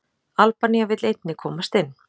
albanía vill einnig komast inn